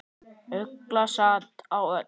Ugla sat á öxl.